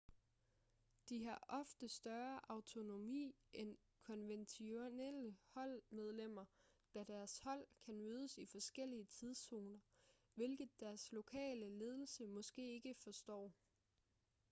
de har ofte større autonomi end konventionelle holdmedlemmer da deres hold kan mødes i forskellige tidszoner hvilket deres lokale ledelse måske ikke forstår